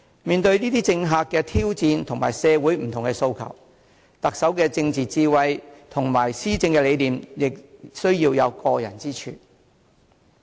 面對政客的挑戰及社會不同的訴求，特首的政治智慧及施政理念亦需要有過人之處。